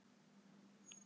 Vona að þér líði vel.